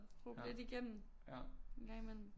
Råbe lidt igennem en gang imellem